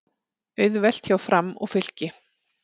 Auðvelt hjá Fram og Fylki